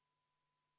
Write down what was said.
Aitäh, austatud esimees!